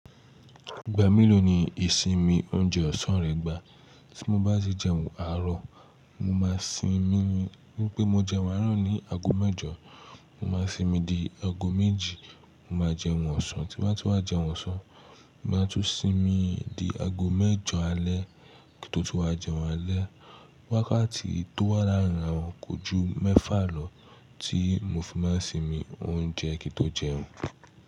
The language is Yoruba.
Ìgbà mélòó ni ìsinmi oúnjẹ ọ̀sán rẹ gba? Tí mo bá sì jẹun àárọ̀, mo máa sinmi ni wípé mo jẹun àárọ̀ ní ago mẹ́jọ, mo máa sinmi di ago méjì, mo máa jẹun ọ̀sán, tí m bá ti wá jẹun ọ̀sán, mo máa tún sinmi di ago mẹ́jọ alẹ́ kí n tó tún wá jẹun alẹ́. Wákàtí tó wà láàrin rà wọn kò ju mẹ́fà lọ tí mo fi máa sinmi oúnjẹ kí n tó jẹun.